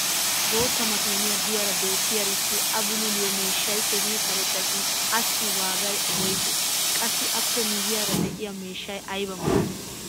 bootta makiiniya diyaara beetiyaarissi a bullulliyo miishshay keehi karetta shin assi waagay woysee? qassi appe miyiyaara diya miishsay aybaa maadii?